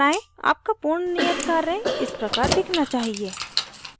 आपका पूर्ण नियत कार्य इस प्रकार दिखना चाहिए